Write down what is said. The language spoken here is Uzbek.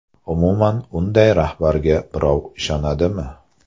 Umuman, unday rahbarga birov ishonadimi?